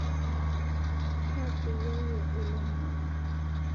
Kateyiayie oleng'